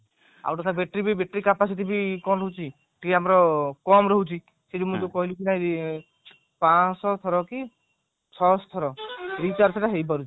ଆଉ ଗୋଟେ କଥା battery ବି battery capacity bi କଣ ରହୁଛି ଟିକେ ଆମର କମ ରହୁଛି ପାଂଶ ଥର କି ଛଅ ସହ ଥର recharge ସେଟା ହେଇ ପାରୁଛି